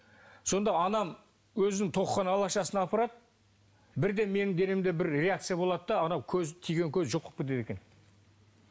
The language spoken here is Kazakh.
сонда анам өзінің тоқыған алашасын апарады бірден менің денемде бір реакция болады да анау көз тиген көз жоқ болып кетеді екен